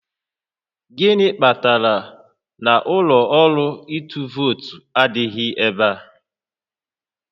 Gịnị kpatara na ụlọ ọrụ ịtụ vootu adịghị ebe a?